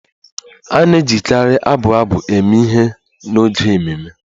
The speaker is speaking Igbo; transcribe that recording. A na-ejikarị abụ abụ eme ihe n'oge ememe